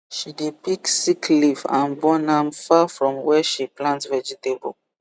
she dey pick sick leaf and burn am far from where where she plant vegetable